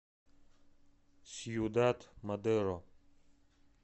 сьюдад мадеро